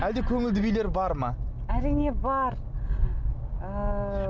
әлде көңілді билер бар ма әрине бар ыыы